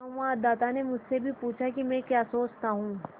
संवाददाता ने मुझसे भी पूछा कि मैं क्या सोचता हूँ